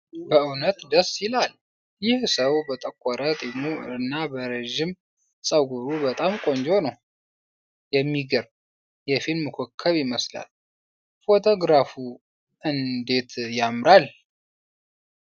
በእውነት ደስ ይላል! ይህ ሰው በጠቆረ ጢሙ እና በረዥም ጸጉሩ በጣም ቆንጆ ነው! የሚገርም የፊልም ኮከብ ይመስላል! ፎቶግራፉ እንዴት ያምራል!